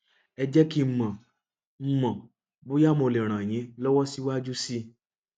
ẹ jẹ kí n mọ n mọ bóyá mo lè ràn yín lọwọ síwájú sí i